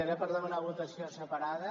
era per demanar votació separada